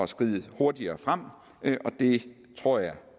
skride hurtigere frem og det tror jeg